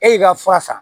E y'i ka fura san